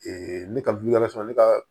ne ka ne ka